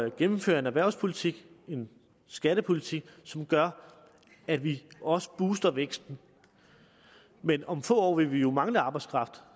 at gennemføre en erhvervspolitik en skattepolitik som gør at vi også booster væksten men om få år vil vi jo mangle arbejdskraft